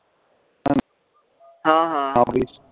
ਹਾਂ ਹਾਂ